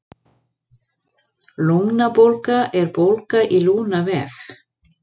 Lungnabólga er bólga í lungnavef.